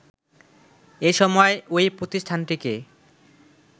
এসময় ওই প্রতিষ্ঠানটিকে